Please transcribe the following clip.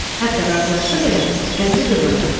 Hətta razılaşsa belə, qəlbi qırılacaqdı.